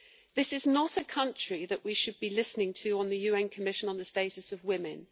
This is not a country that we should be listening to on the UN Commission on the Status of Women.